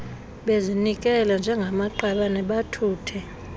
bezinikele njengamaqabane bathuthe